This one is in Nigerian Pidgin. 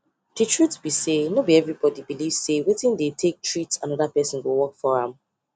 the truth be sayno be everybody belief say wetin dey take treat another person go work for am